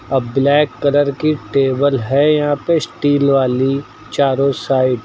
आ black colour की table है यहां पे स्टील वाली चारों साइड --